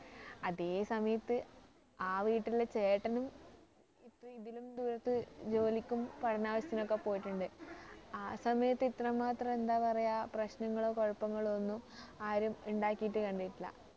അതേ സമയത്ത് ആ വീട്ടിലെ ചേട്ടനും ഇതിലും ദൂരത്ത് ജോലിക്കും പഠനാവിശ്യത്തിനുമൊക്കെ പോയിട്ടുണ്ട് ആ സമയത്ത് ഇത്രമാത്രം എന്താ പറയ പ്രശ്നങ്ങളോ കുഴപ്പങ്ങളോ ഒന്നും ആരും ഇണ്ടാക്കീട്ടു കണ്ടിട്ടില്ല